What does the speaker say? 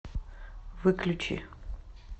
выключи